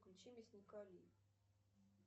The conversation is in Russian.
включи мясника ли